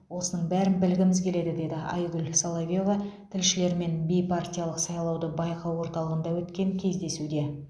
осының бәрін білгіміз келеді деді айгүл соловьева тілшілермен бейпартиялық сайлауды байқау орталығында өткен кездесуде